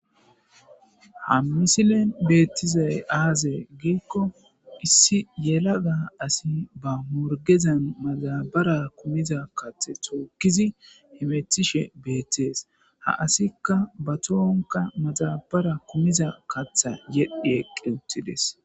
ha misilen beettizay aaze giikko issi yelaga asi ba morgezan maxabara kumiza kathe tookkizi himetishe beettees ha asikka ba tohonka maxabara kumiza katha yedhi eqqi uttides